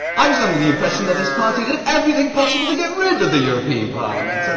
I was under the impression that his party did everything possible to get rid of the European Parliament.